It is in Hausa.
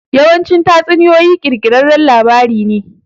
Yawanci tatsuniyoyi ƙirƙirarran labarai ne.